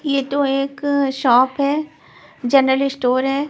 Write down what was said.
ये तो एक शॉप है जनरल स्टोर है.